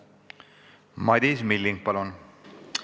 Madis Milling, palun!